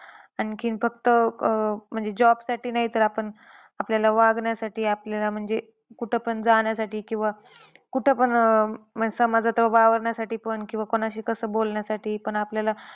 आणखी फक्त अह म्हणजे job साठी नाहीतर आपण आपल्याला वागण्यासाठी, आपल्याला म्हणजे कुठं पण जाण्यासाठी किंवा कुठंपण अह समाजात वावरण्यासाठी पण किंवा कोणाशी कस बोलण्यासाठी पण आपल्याला,